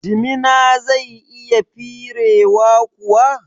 Jimina zai iya firewa kuwa?